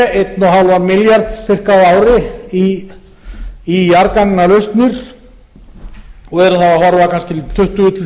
og hálfan milljarð sirka á ári í jarðgangalausnir og erum þá að horfa kannski til tuttugu tuttugu